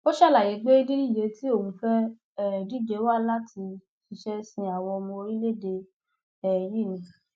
ó ṣàlàyé pé dídíje tí òun fẹẹ um díje wá láti ṣiṣẹ sin àwọn ọmọ orílẹèdè um yìí ni